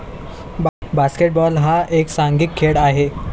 basketball हा एक सांघिक खेळ आहे